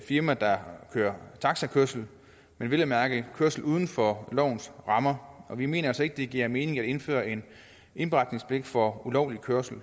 firma der kører taxakørsel men vel at mærke kørsel uden for lovens rammer vi mener altså ikke det giver mening at indføre en indberetningspligt for ulovlig kørsel